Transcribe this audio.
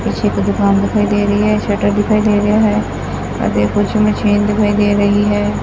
ਪਿੱਛੇ ਇੱਕ ਦੁਕਾਨ ਦਿਖਾਈ ਦੇ ਰਹੀ ਹੈ ਸਟਰ ਦਿਖਾਈ ਦੇ ਰਿਹਾ ਹੈ ਅਤੇ ਕੁਝ ਮਸ਼ੀਨ ਦਿਖਾਈ ਦੇ ਰਹੀ ਹੈ।